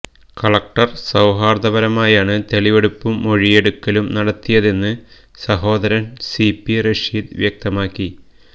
collector സൌഹാര്ദ്ദപരമായാണ് തെളിവെടുപ്പും മൊഴിയെടുക്കലും നടത്തിയതെന്ന് സഹോദരന് സി പി റഷീദ് വ്യക്തമാക്കി